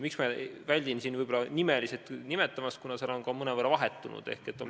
Miks ma väldin siin neid nimeliselt nimetamast, on seepärast, et koosseis on mõnevõrra vahetunud.